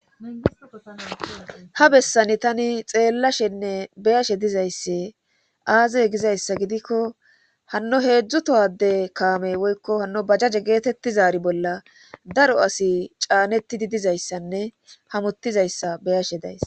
ha bessani tani xeellashenne beyashe dizaysse aazeye gizayssa gidikko hanno heedzdzu tohade kaame woykko hanno bajaje geetettizari bolla daro asi caanetidi dizayssanne hamottizayssa beyashe days